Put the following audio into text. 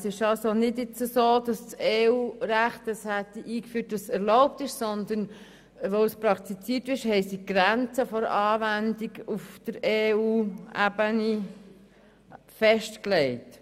Es ist also nicht so, dass es im EU-Recht erlaubt ist, sondern auf EU-Ebene wurde die Grenze der Anwendung festgelegt.